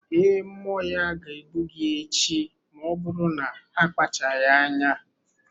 Ee, mmụọ ya ga-egbu gị echi ma ọ bụrụ na akpacharaghị anya.